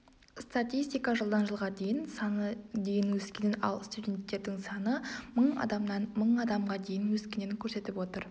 статистика жылдан жылға дейін саны ке дейін өскенін ал студенттердің саны мың адамнан мың адамға дейін өскенін көрсетіп отыр